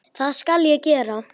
Það skal ég gera.